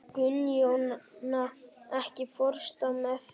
Gunnjóna, ekki fórstu með þeim?